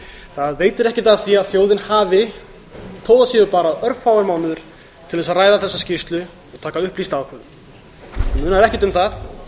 það veitir ekkert af því að þjóðin hafi þótt það séu bara örfáir mánuðir til að ræða þessa skýrslu og taka upplýsta ákvörðun það munar ekkert um það